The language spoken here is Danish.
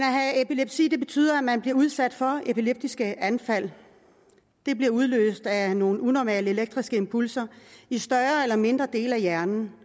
epilepsi betyder at man bliver udsat for epileptiske anfald de bliver udløst af nogle unormale elektriske impulser i større eller mindre dele af hjernen